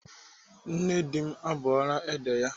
Nne di m na-abọ ede ya.